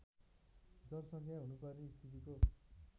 जनसङ्ख्या हुनुपर्ने स्थितिको